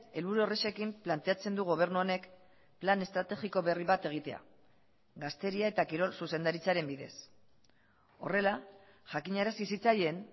helburu horrexekin planteatzen du gobernu honek plan estrategiko berri bat egitea gazteria eta kirol zuzendaritzaren bidez horrela jakinarazi zitzaien